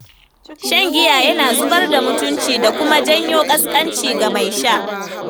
Shan giya yana zubar da mutunci, da kuma janyo ƙansƙanci ga mai sha.